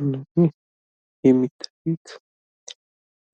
እነዚህ የሚታዩት